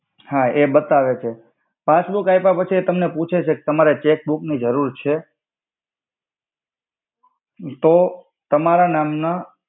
હા એ બતાવે છે પાસબુક આય્પા પછી એ તમને પુછે છે કે તમારે ચેક્બુક ની જરૂર છે તો તમારા નામ ના